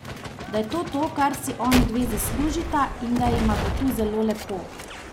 Da je to to, kar si onidve zaslužita, in da jima bo tu zelo lepo.